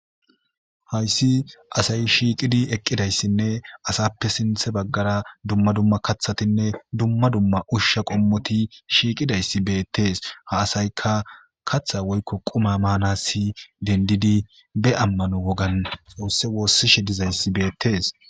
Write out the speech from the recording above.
hayssi asay shiiqidi eqqidayssinne asappe sinthe baggara dumma dumma kathatinne dumma dumma ushsha qommoti shiiqidayssi beettees ha asayka kaththa woykko quma maanassi dendidi be ammano wogan xoosse woossishe dizayssi beettes